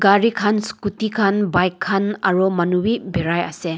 cari kan scooty kan bike kan aro manu b birai ase.